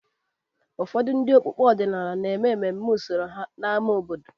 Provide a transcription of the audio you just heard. Ụfọdụ ndị okpukpe ọdịnala na-eme emume usoro ha n’ámá obodo.